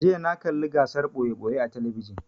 jiya na kalla gasar ɓoye-ɓoye a talabijin